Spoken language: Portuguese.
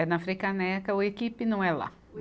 É na Frei Caneca, o Equipe não é lá.